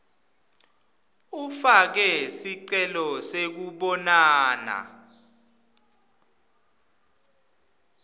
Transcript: ufake sicelo sekubonana